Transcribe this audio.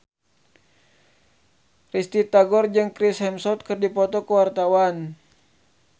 Risty Tagor jeung Chris Hemsworth keur dipoto ku wartawan